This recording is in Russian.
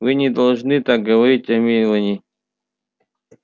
вы не должны так говорить о мелани